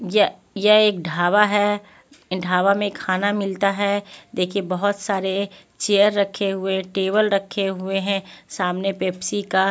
यह यह एक ढावा है ढावा में खाना मिलता है देखिए बहुत सारे चेयर रखे हुए टेबल रखे हुए हैं सामने पेप्सी का--